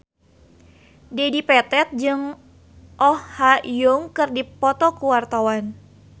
Dedi Petet jeung Oh Ha Young keur dipoto ku wartawan